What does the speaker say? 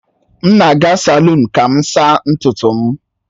M na-aga salụnu ka m saa ntutu m